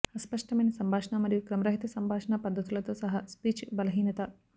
అస్పష్టమైన సంభాషణ మరియు క్రమరహిత సంభాషణ పద్ధతులతో సహా స్పీచ్ బలహీనత